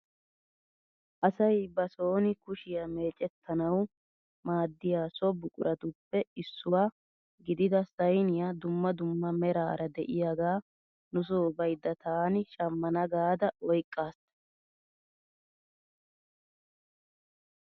Asay ba sooni kushiyaa mecettanawu maaddiyaa so buquratuppe issuwaa gidida sayniyaa dumma dumma meraara de'iyaagaa nusoo baydda taani shammana gaada oyqqas!